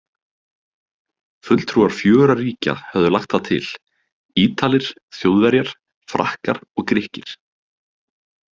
Fulltrúar fjögurra ríkja höfðu lagt það til- Ítalir, Þjóðverjar, Frakkar og Grikkir.